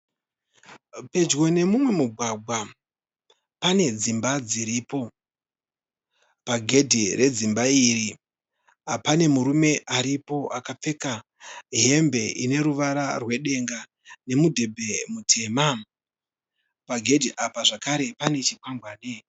Pedyo nemumwe mugwagwa pane dzimba dziripo. Pagedhe redzimba iri pane murume aripo akapfeka hembe ine ruvara rwedenga nemudhebhe mutema. Pagedhe apa zvekare pane chikwangwani.